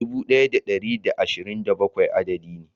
Dubu daya da dari da ashirin da bakwai adadi ne.